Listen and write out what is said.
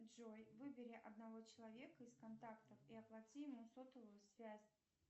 джой выбери одного человека из контактов и оплати ему сотовую связь